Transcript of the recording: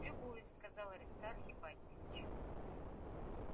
любуюсь сказал аристарх ипатьевич